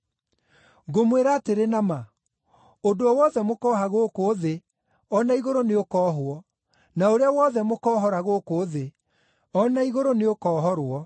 “Ngũmwĩra atĩrĩ na ma, ũndũ o wothe mũkooha gũkũ thĩ, o na igũrũ nĩũkoohwo, na ũrĩa wothe mũkoohora gũkũ thĩ, o na igũrũ nĩũkohorwo.